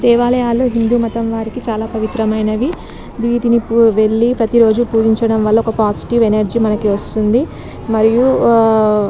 దేవాలయాలు హిందూ మతం వారికీ చాల పవిత్రమైనవి వీటిని వెళ్లి ప్రతి రోజు పూజించడం వాళ్ళ ఒక పాజిటి వ్ఎనర్జీ మనకు వస్తుంది మరియి --